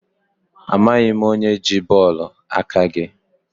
Amaghị m onye ji bọọlụ aka gị.